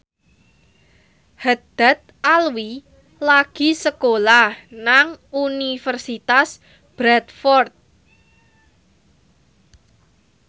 Haddad Alwi lagi sekolah nang Universitas Bradford